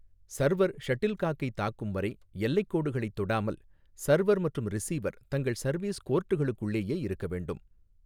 Server ஷட்டில்காக்கை தாக்கும்வரை, எல்லைகோடுகளைத் தொடாமல், சர்வர் மற்றும் ரிசீவர் தங்கள் சர்வீஸ் கோர்ட்டுகளுக்குள்ளேயே இருக்க வேண்டும்.